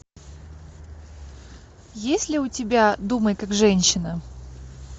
есть ли у тебя думай как женщина